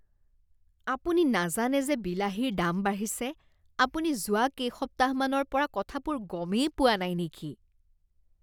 আপুনি নাজানে যে বিলাহীৰ দাম বাঢ়িছে? আপুনি যোৱা কেইসপ্তাহমানৰ পৰা কথাবোৰ গমেই পোৱা নাই নেকি?